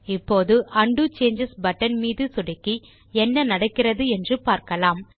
இப்போது undo changes button மீது சொடுக்கி என்ன நடக்கிறது என்று பார்க்கலாம்